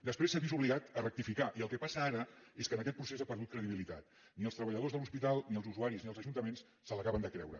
després s’ha vist obligat a rectificar i el que passa ara és que en aquest procés ha perdut credibilitat ni els treballadors de l’hospital ni els usuaris ni els ajuntaments se l’acaben de creure